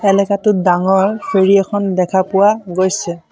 এলেকাটোত ডাঙৰ ফেৰী এখন দেখা পোৱা গৈছে।